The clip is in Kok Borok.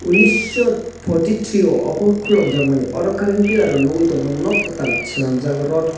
unison fourth three omo khulukjaak mani oro current piller rok nugui tong mano non katal sanamjaak tod--